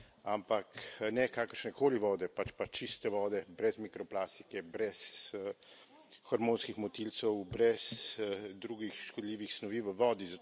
Ampak ne kakršne koli vode, pač pa čiste vode, brez mikroplastike, brez hormonskih motilcev, brez drugih škodljivih snovi v vodi.